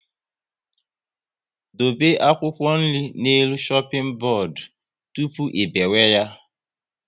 Dobe akwụkwọ nri n'elu shoping bodu tụpụ ị biwe ya